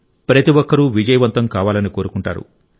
ప్రతి ఒక్కరూ విజయవంతం కావాలని కోరుకుంటారు